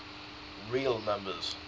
real numbers